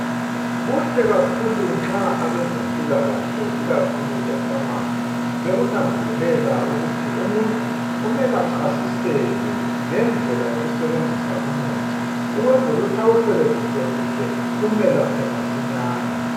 Kuhle kakhulu nxa abezempilakahle ikakhulu ePharmacy bekunanzelela ukuthi umuntu, kumele achasiselwe ngendlela yokusebenzisa umuthi ukwenzela ukuthi awusebenzise kuhle umelaphe masinyane.